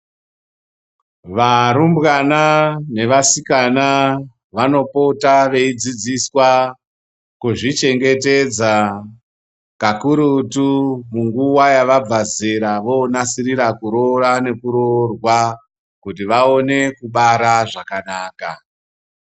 Varumbwana nevasikana vanopota veidzidziswa kuzvichengetedza kakurutu munguwa yavabva zera vonasirira kuroora nekuroorwa kuti vaone kubara zvakanaka.